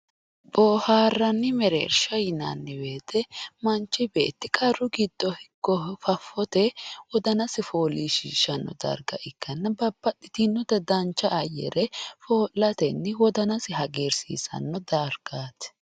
Booharanni mereersha yinnanni woyte manchi beetti qarru giddo heere ikko fafote wodanasi foolishishano darga ikkanna babbaxxitinotta dancha ayare foo'latenni wodanasi foolishishano dargaati.